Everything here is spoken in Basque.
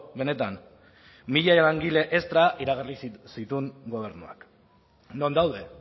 benetan mila langile estra iragarri zituen gobernuak non daude